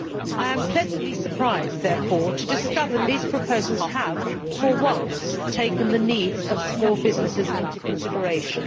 I am pleasantly surprised therefore to discover that these proposals have for once taken the needs of small businesses into consideration.